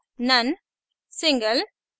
none none single single